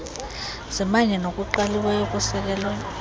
zimanye nokuqaliweyo okusekelwe